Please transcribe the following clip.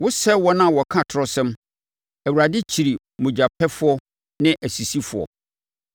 Wosɛe wɔn a wɔka atorɔsɛm; Awurade kyiri mogyapɛfoɔ ne asisifoɔ.